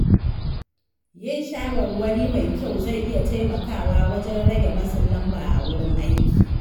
Yin shawarwari mai kyau zai iya taimakawa wajen rage matsin lamba a wurin aiki.